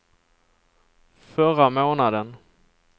förra månaden